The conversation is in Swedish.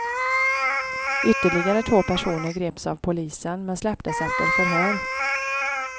Ytterligare två personer greps av polisen men släpptes efter förhör.